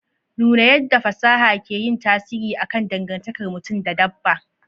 Nuna yadda fasaha ke yin tasiri akan dangantakar mutum da dabba.